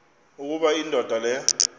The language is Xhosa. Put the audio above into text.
ukuba indoda le